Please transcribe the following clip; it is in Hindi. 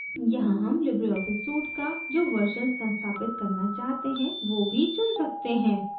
यहाँ हम libreoffice suite का जो version संस्थापित करना चाहते हैं वो भी चुन सकते हैं